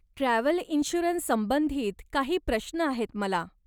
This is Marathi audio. ट्रॅव्हल इन्शुरन्स संबंधित काही प्रश्न आहेत मला.